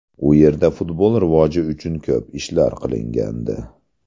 U yerda futbol rivoji uchun ko‘p ishlar qilingandi.